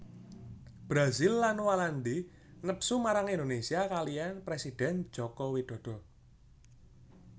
Brazil lan Walandi nepsu marang Indonésia kaliyan présidèn Joko Widodo